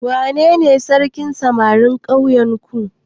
Wanene sarkin samarin ƙauyenku?